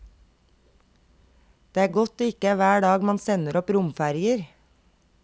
Det er godt det ikke er hver dag man sender opp romferjer.